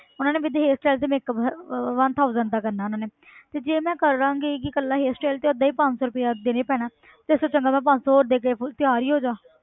ਉਹਨਾਂ ਨੇ ਵੀ ਤਾਂ hairstyle ਤੇ makeup ਅਹ one thousand ਦਾ ਕਰਨਾ ਉਹਨਾਂ ਨੇ ਤੇ ਜੇ ਮੈਂ ਕਰ ਲਵਾਂਗੀ ਕਿ ਇਕੱਲਾ hairstyle ਤੇ ਓਦਾਂ ਹੀ ਪੰਜ ਸੌ ਰੁਪਇਆ ਦੇਣਾ ਹੀ ਪੈਣਾ ਤੇ ਇਸ ਤੋਂ ਚੰਗਾ ਮੈਂ ਪੰਜ ਸੌ ਹੋਰ ਦੇ ਕੇ full ਤਿਆਰ ਹੀ ਹੋ ਜਾਵਾਂ।